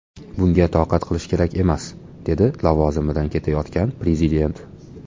Bunga toqat qilish kerak emas”, dedi lavozimidan ketayotgan prezident.